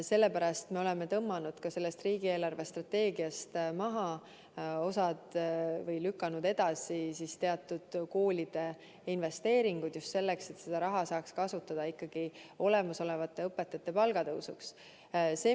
Sellepärast me oleme ka sellest riigi eelarvestrateegiast tõmmanud maha või lükanud edasi mõningad koolidesse tehtavad investeeringud – just sellepärast, et kasutada seda raha õpetajate palga tõstmiseks.